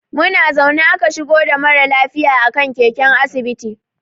Muna zaune aka shigo da mara lafiya a kan keken asibiti.